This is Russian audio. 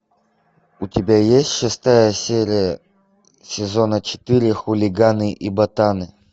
у тебя есть шестая серия сезона четыре хулиганы и ботаны